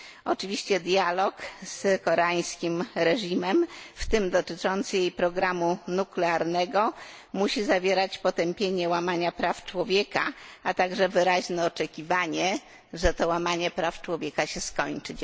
Oczywiście dialog z koreańskim reżimem, w tym dotyczący jej programu nuklearnego, musi zawierać potępienie łamania praw człowieka, a także wyraźne oczekiwanie, że to łamanie praw człowieka się skończy.